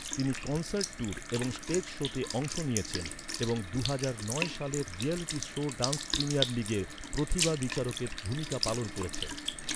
তিনি concert tour এবং stage শোতে অংশ নিয়েছেন এবং দুহাজার নয় সালের রিয়্যালিটি শো ড্যান্স প্রিমিয়ার লিগের প্রতিভা বিচারকের ভূমিকা পালন করেছেন।